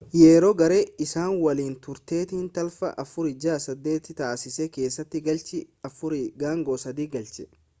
yeroo garee isaa waliin turetti tapha 468 taasisee keessatti galchii 403 galche